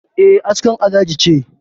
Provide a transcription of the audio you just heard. E, askar Alhaji ce